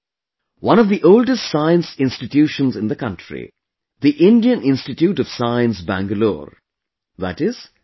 One of the oldest Science Institutions in the country, the Indian Institute of Science, Bangalore, i